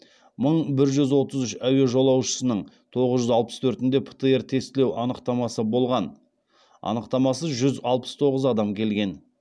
мың бір жүз отыз үш әуе жолаушысының тоғыз жүз алпыс төртінде птр тестілеу анықтамасы болған анықтамасыз жүз алпыс тоғыз адам келген